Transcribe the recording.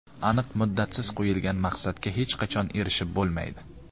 Aniq muddatsiz qo‘yilgan maqsadga hech qachon erishib bo‘lmaydi.